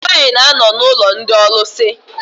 Nwaanyị na-anọ n'ụlọ ndị ọlụsị.